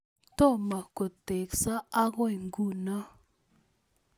Tomo kotekso ako nguno?